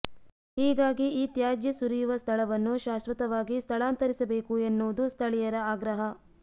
ಹೀಗಾಗಿ ಈ ತ್ಯಾಜ್ಯ ಸುರಿಯುವ ಸ್ಥಳವನ್ನು ಶಾಶ್ವತವಾಗಿ ಸ್ಥಳಾಂತರಿಸಬೇಕು ಎನ್ನುವುದು ಸ್ಥಳೀಯರ ಆಗ್ರಹ